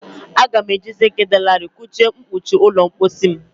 Aga m eji zink dị larịị kụọ mkpuchi ụlọ mposi.